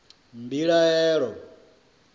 mbilahelo